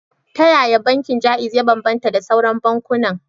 Ta yaya bankin Jaiz ya bambanta da sauran bankunan?